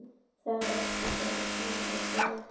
Það eru áhöld um þær grunsemdir- en allur er varinn góður.